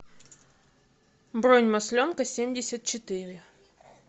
бронь масленкасемьдесятчетыре